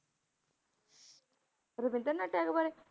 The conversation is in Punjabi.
ਰਵਿੰਦਰਨਾਥ ਟੈਗੋਰ ਬਾਰੇ?